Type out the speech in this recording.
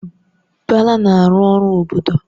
Bala na-arụ ọrụ obodo